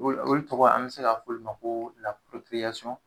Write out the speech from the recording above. Olu olu tɔgɔ an bɛ se ka f'olu ma ko